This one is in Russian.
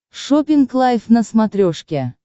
шоппинг лайв на смотрешке